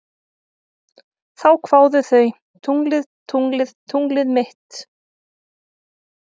Þá kváðu þau: Tunglið, tunglið, tunglið mitt